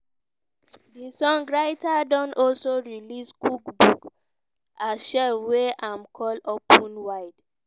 di songwriter don also release cookbook as chef wey i'm call open wide.